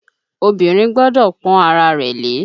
Obìnrin gbọ́dọ̀ pọ́n ara rẹ̀ lé.